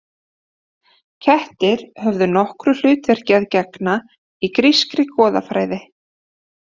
Kettir höfðu nokkru hlutverki að gegna í grískri goðafræði.